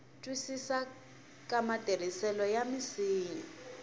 twisisa ka matirhisisele ya misinya